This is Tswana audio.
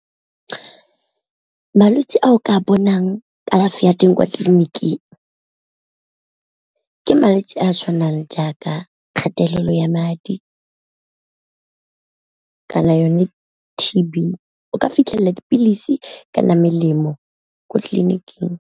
Malwetse a o ka bonang kalafi ya teng kwa tleliniking ke malwetse a tshwanang jaaka kgatelelo ya madi, kana yone T_B o ka fitlhela dipilisi kana melemo ko tleliniking.